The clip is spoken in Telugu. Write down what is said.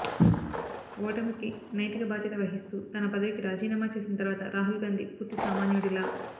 ఓటమికి నైతిక భాద్యత వహిస్తూ తన పదవికి రాజీనామా చేసిన తర్వాత రాహుల్ గాంధీ పూర్తి సామాన్యుడిలా